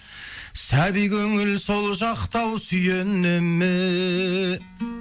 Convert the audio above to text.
сәби көңіл сол жақта ау сүйене ме